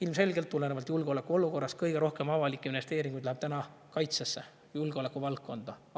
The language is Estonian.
Ilmselgelt läheb tulenevalt julgeolekuolukorrast kõige rohkem avalikke investeeringuid täna kaitsesse, julgeolekuvaldkonda.